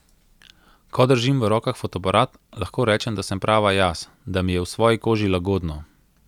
Ko držim v rokah fotoaparat, lahko rečem, da sem prava jaz, da mi je v svoji koži lagodno.